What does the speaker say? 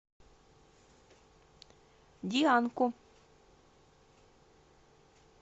дианку